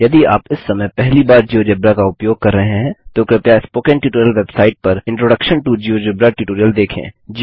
यदि आप इस समय पहली बार जियोजेब्रा का उपयोग कर रहे हैं तो कृपया स्पोकन ट्यूटोरियल वेबसाइट पर इंट्रोडक्शन टो जियोजेब्रा ट्यूटोरियल देखें